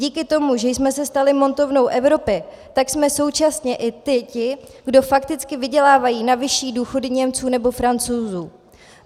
Díky tomu, že jsme se stali montovnou Evropy, tak jsme současně i ti, kdo fakticky vydělávají na vyšší důchody Němců nebo Francouzů.